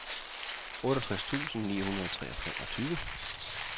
otteogtres tusind ni hundrede og treogtyve